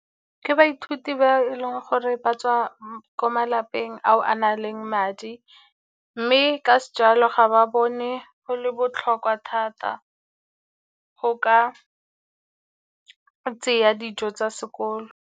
Ke baithuti ba e leng gore ba tswa ko malapeng ao a na leng madi, mme ka se jalo ga ba bone go le botlhokwa thata go ka tseya dijo tsa sekolo.